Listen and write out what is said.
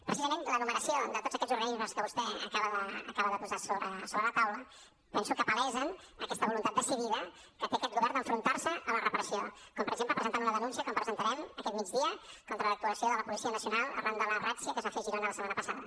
precisament l’enumeració de tots aquests organismes que vostè acaba de posar sobre la taula penso que palesa aquesta voluntat decidida que té aquest govern d’enfrontar se a la repressió com per exemple presentant una denúncia com presentarem aquest migdia contra l’actuació de la policia nacional arran de la ràtzia que es va fer a girona la setmana passada